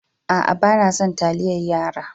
A'a, bana son taliyar yara.